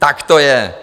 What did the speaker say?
Tak to je.